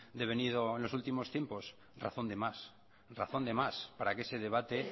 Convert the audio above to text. devenido en los últimos tiempos razón de más razón de más para que ese debate